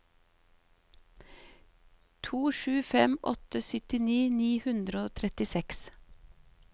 to sju fem åtte syttini ni hundre og trettiseks